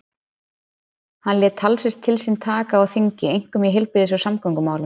Hann lét talsvert til sín taka á þingi, einkum í heilbrigðis- og samgöngumálum.